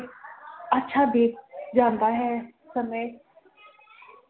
ਅੱਛਾ ਬੀਤ ਜਾਂਦਾ ਹੈ ਸਮੇ